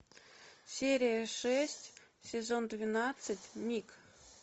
серия шесть сезон двенадцать миг